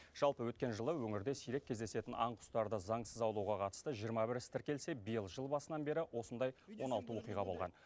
жалпы өткен жылы өңірде сирек кездесетін аң құстарды заңсыз аулауға қатысты жиырма бір іс тіркелсе биыл жыл басынан бері осындай он алты оқиға болған